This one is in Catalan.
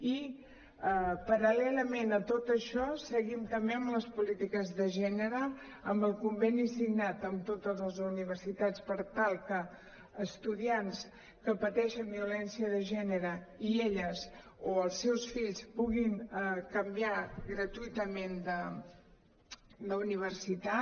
i paral·lelament a tot això seguim també amb les polítiques de gènere amb el con·veni signat amb totes les universitats per tal que estudiants que pateixen violència de gènere elles o els seus fills puguin canviar gratuïtament d’universitat